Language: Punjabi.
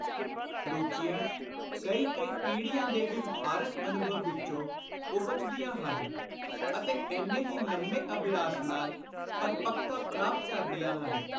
ਰੁਚੀਆਂ ਕਈ ਕਈ ਪੀੜ੍ਹੀਆਂ ਦੇ ਵਿਵਹਾਰਕ ਅਨੁਭਵ ਵਿਚੋਂ ਉਪਜਦੀਆਂ ਹਨ ਅਤੇ ਏਨੇ ਹੀ ਲੰਮੇ ਅਭਿਆਸ ਨਾਲ ਪਰਪੱਕਤਾ ਪ੍ਰਾਪਤ ਕਰਦੀਆਂ ਹਨ।